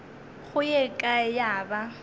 go ye kae ya ba